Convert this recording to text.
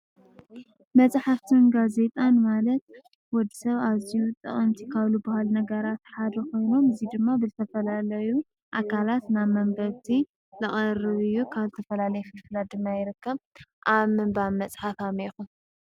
መፅሓፍትን ጋዜጣን ማለት ንወድ ሰብ ኣዝዩ ጠቀምቲ ካብ ዝባሃሉ ነገራት ሓደ ኮይኑ እዙይ ድማ ዝተፈላለዩ ኣካላት ናብ መንገዲ ዝቀርብ እዩ። ካብ ዝተፈላለየ ፍልፍላት ድማ ይርከብ። ኣብ ምንባብ ፅሓፍ ከመይ ኢኩም?